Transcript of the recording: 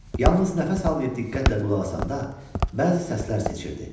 Yalnız nəfəs almayıb diqqətlə qulaq asanda, bəzi səslər seçirdi.